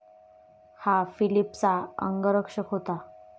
हा फिलिपचा अंगरक्षक होता.